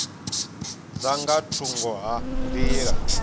dza nga thungo ha nḓila